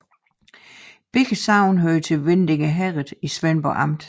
Begge sogne hørte til Vindinge Herred i Svendborg Amt